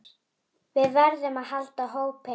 Við verðum að halda hópinn!